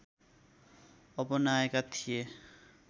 अपनाएका थिए